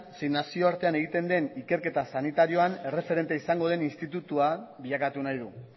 zein nazioartean egiten den ikerketa sanitarioan erreferente izango den institutua bilakatu nahi du